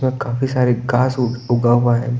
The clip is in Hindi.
और काफी सारे घास उग ऊगा हुआ है।